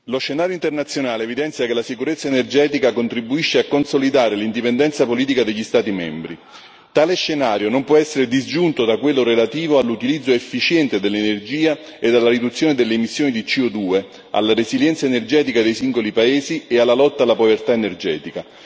Signor Presidente, onorevoli colleghi, lo scenario internazionale evidenzia che la sicurezza energetica contribuisce a consolidare l'indipendenza politica degli Stati membri. Tale scenario non può essere disgiunto da quello relativo all'utilizzo efficiente dell'energia e alla riduzione delle emissioni di CO2, alla resilienza energetica dei singoli paesi e alla lotta alla povertà energetica.